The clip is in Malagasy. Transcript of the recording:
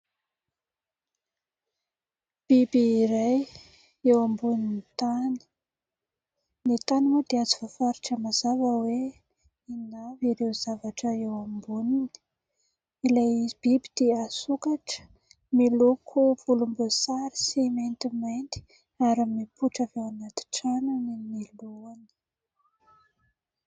Biby iray eo ambonin'ny tany. Ny tany moa dia tsy voafaritra mazava hoe inona avy ireo zavatra eo amboniny ; ilay biby dia sokatra, miloko volomboasary sy maintimainty ary mipoitra avy ao anaty tranony ny lohany.